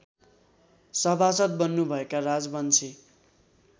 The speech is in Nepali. सभासद् बन्नुभएका राजबंशी